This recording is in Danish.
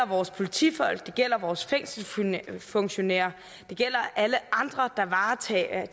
vores politifolk det gælder vores fængselsfunktionærer og det gælder alle andre der varetager